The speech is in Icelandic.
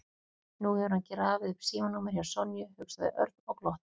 Nú hefur hann grafið upp símanúmerið hjá Sonju, hugsaði Örn og glotti.